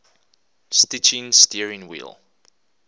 stitching steering wheel